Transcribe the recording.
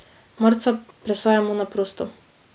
Marca presajamo na prosto.